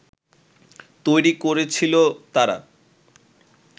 তৈরি করেছিল তারা